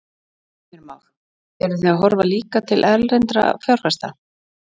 Heimir Már: Eruð þið að horfa líka til erlendra fjárfesta?